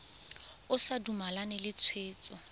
o sa dumalane le tshwetso